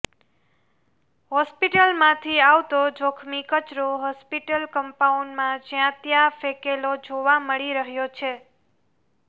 હોસ્પિટલમાંથી આવતો જોખમી કચરો હોસ્પિટલ કંપાઉન્ડમાં જ્યાં ત્યાં ફેંકેલો જોવા મળી રહ્યો છે